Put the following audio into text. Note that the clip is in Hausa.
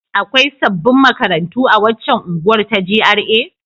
Akwai sabbin makarantu a waccan unguwar ta GRA?